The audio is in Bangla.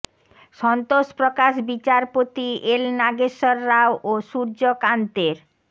সন্তোষ প্রকাশ বিচারপতি এল নাগেশ্বর রাও ও সূর্য কান্তের